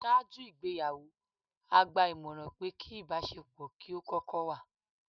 Ṣáájú ìgbéyàwó, a gba ìmọ̀ràn pé kí ìbáṣe pọ̀ kí ó kókó wà.